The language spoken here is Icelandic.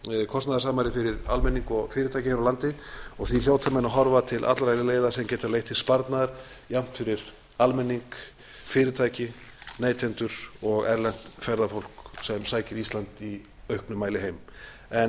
kostnaðarsamari fyrir almenning og fyrirtæki hér á landi og því hljóta menn að horfa til allra þeirra leiða sem geta leitt til sparnaðar jafnt fyrir almenning fyrirtæki neytendur og erlent ferðafólk sem sækir ísland í auknum mæli heim